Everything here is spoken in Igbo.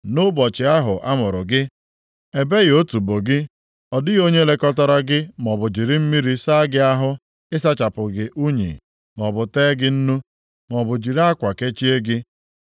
Nʼụbọchị ahụ a mụrụ gị, ebeghị otubo gị, ọ dịghị onye lekọtara gị maọbụ jiri mmiri saa gị ahụ ị sachapụ gị unyi maọbụ tee gị nnu, maọbụ jiri akwa kechie gị.